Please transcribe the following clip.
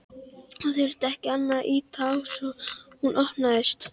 Hann þurfti ekki annað en ýta á svo hún opnaðist.